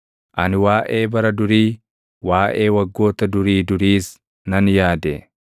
Ani waaʼee bara durii, waaʼee waggoota durii duriis nan yaade;